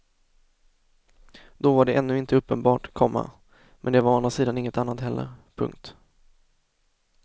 Då var det ännu inte uppenbart, komma men det var å andra sidan inget annat heller. punkt